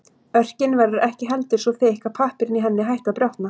Örkin verður ekki heldur svo þykk að pappírinn í henni hætti að brotna.